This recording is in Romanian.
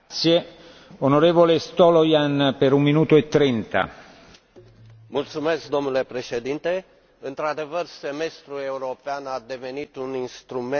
Domnule președinte, într adevăr, semestrul european a devenit un instrument extrem de util în coordonarea politicilor economice ale statelor membre.